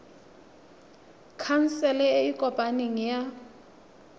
khansele e e kopaneng ya